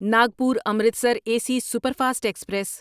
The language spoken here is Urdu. ناگپور امرتسر اے سی سپرفاسٹ ایکسپریس